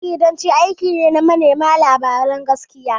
Jaridanci aiki ne na manema labaran gaskiya.